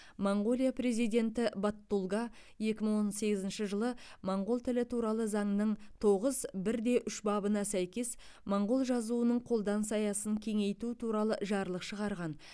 моңғолия президенті баттулга екі мың он сегізінші жылы моңғол тілі туралы заңның тоғыз бірде үш бабына сәйкес моңғол жазуының қолданыс аясын кеңейту туралы жарлық шығарған